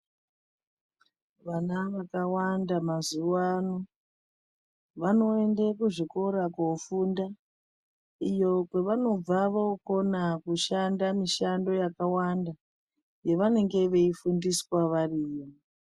Vana vakawanda mazuwa ano vanoenda kuzvikora kunofunda iyo kwavanobva vokona kushande mushando yakawanda yavange veifundiswa variyo